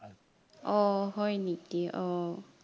অ হয় নিকি অ